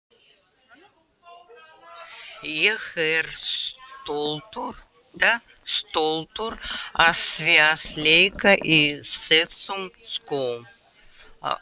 Ég er stoltur af því að leika í þessum skóm.